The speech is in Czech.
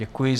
Děkuji.